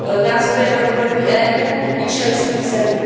Nástroje na úrovni EU i členských zemí.